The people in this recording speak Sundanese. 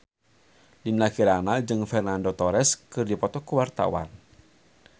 Dinda Kirana jeung Fernando Torres keur dipoto ku wartawan